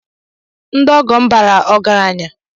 Ndị ọgọ m baara ọgaranya.